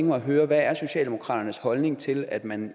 mig at høre hvad er socialdemokratiets holdning til at man